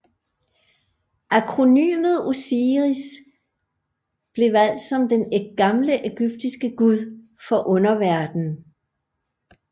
Akronymet OSIRIS blev valgt som den gamle ægyptiske gud for underverden